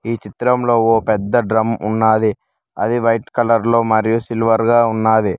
ఈ చిత్రంలో ఓ పెద్ద డ్రమ్ ఉన్నాది అది వైట్ కలర్ లో మరియు సిల్వర్ గా ఉన్నాది.